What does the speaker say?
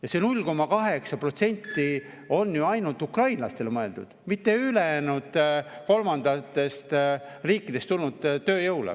Ja see 0,8 on ju ainult ukrainlastele mõeldud, mitte ülejäänud kolmandatest riikidest tulnud tööjõule.